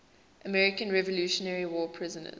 american revolutionary war prisoners